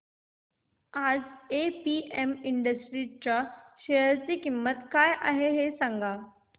आज APM industries च्या share ची किंमत काय आहे सांगा